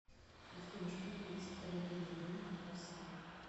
афина что будет с автомобильным рынком в россии